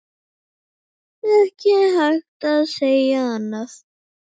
Ekki hægt að segja annað.